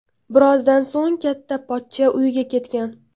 Birozdan so‘ng katta pochcha uyiga ketgan.